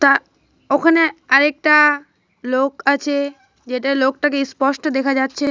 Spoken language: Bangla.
তা ওখানে আরেকটা লোক আছে যেটা লোকটাকে স্পষ্ট দেখা যাচ্ছে।